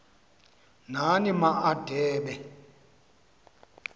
nani ma adebe